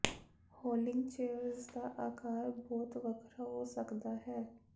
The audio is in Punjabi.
ਰੋਲਿੰਗ ਚੇਅਰਜ਼ ਦਾ ਆਕਾਰ ਬਹੁਤ ਵੱਖਰਾ ਹੋ ਸਕਦਾ ਹੈ